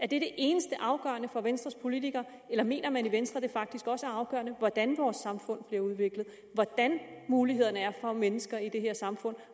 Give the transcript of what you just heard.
det eneste afgørende for venstres politikere eller mener man i venstre at det faktisk også er afgørende hvordan vores samfund bliver udviklet hvordan mulighederne er for mennesker i det her samfund